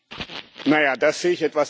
Das sehe ich etwas anders.